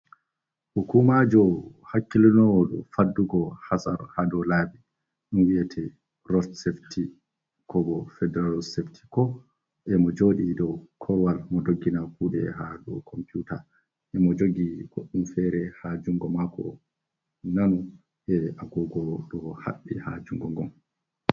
Hukuumaajo hakkilinoowo dow faddugo hasaru haa dow laabi, ɗum wi'etee rot safiti koo boo Federal safety ko, e mo jooɗi dow korowal, mo doggina kuuɗe haa dow computa, e mo jogi goɗɗum feere haa junngo maako, non e agogo ɗo haɓɓi haa junngo ngon.